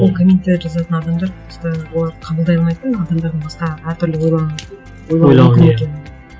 ол комменттерді жазатын адамдар просто олар қабылдай алмайтыны адамдардың басқа әртүрлі ойлану мүмкін екенін